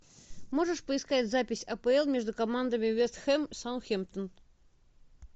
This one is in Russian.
можешь поискать запись апл между командами вест хэм саутгемптон